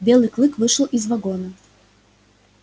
белый клык вышел из вагона